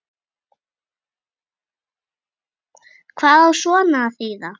Hvað á svona að þýða